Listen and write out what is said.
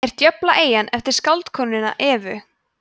er djöflaeyjan eftir skáldkonuna evu